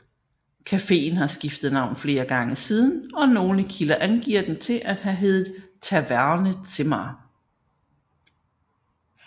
Cafeen har skiftet navn flere gange siden og nogle kilder angiver den til at have heddet Taverne Zimmer